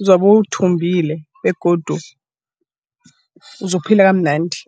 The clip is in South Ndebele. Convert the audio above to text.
uzobe uthumbile begodu uzokuphila kamnandi.